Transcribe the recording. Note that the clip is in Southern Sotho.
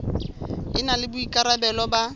e na le boikarabelo ba